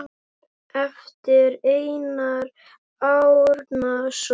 eftir Einar Árnason